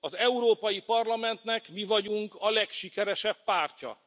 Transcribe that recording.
Az Európai Parlamentnek mi vagyunk a legsikeresebb pártja.